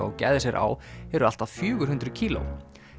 og gæða sér á eru allt að fjögur hundruð kíló